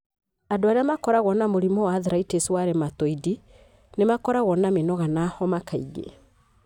Andũ arĩa makoragwo na mũrimũ wa arthritis wa rheumatoid, nĩ makoragwo na mĩnoga na homa kaingĩ.